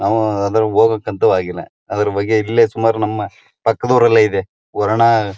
ನ್ಮವು ಅದ್ರಲ್ ಹೋಗ್ಯಾಕ್ ಅಂತೂ ಆಗಿಲ್ಲ ಅದು ಇಲ್ಲೇ ಸುಮಾರು ನಮ್ಮ ಪಕ್ಕದೂರಲ್ಲೇ ಇದೆ ವರುಣ--